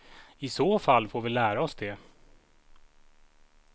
I så fall får vi lära oss det.